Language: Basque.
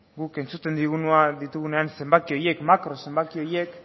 guk entzuten ditugunean zenbaki horiek makro zenbaki horiek